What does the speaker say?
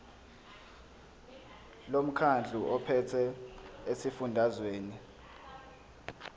lomkhandlu ophethe esifundazweni